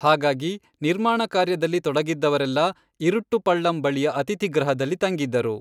ಹಾಗಾಗಿ, ನಿರ್ಮಾಣ ಕಾರ್ಯದಲ್ಲಿ ತೊಡಗಿದ್ದವರೆಲ್ಲ ಇರುಟ್ಟು ಪಳ್ಳಂ ಬಳಿಯ ಅತಿಥಿಗೃಹದಲ್ಲಿ ತಂಗಿದ್ದರು.